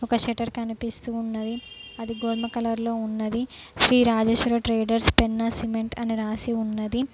ఒక షేటర్ కనిపిస్తు ఉన్నది అది గోధుమ కలర్ లో ఉన్నది శ్రీ రాజేశ్వరి ట్రేడర్స్ పెన్నా సిమెంట్ అని రాసి ఉన్నది.